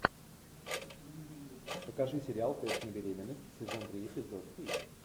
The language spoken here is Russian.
покажи сериал тест на беременность сезон три эпизод три